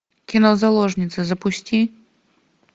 кино заложница запусти